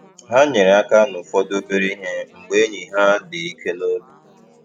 Ha nyere aka n’ụfọdụ obere ihe mgbe enyi ha dị ike n’obi.